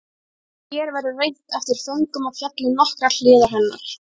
Hér verður reynt eftir föngum að fjalla um nokkrar hliðar hennar.